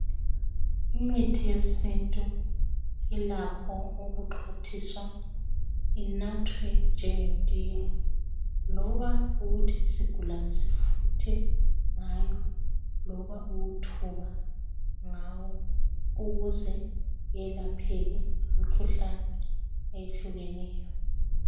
Imithi yesintu ilakho ukuxhwathiswa inathwe njengetiye loba ukuthi isigulane sifuthe ngayo loba ukuthoba ngawo ukuze kwelapheke imikhuhlane ehlukeneyo